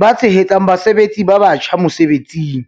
ba tshehetsang basebetsi ba batjha mosebetsing."